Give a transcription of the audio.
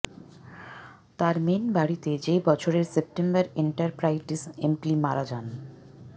তার মেইন বাড়িতে যে বছরের সেপ্টেম্বর এন্টারপ্রাইটিস এম্পিলি মারা যান